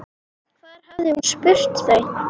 Hvar hafði hún spurt þau?